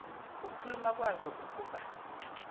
ngokuluma kwazo ukuba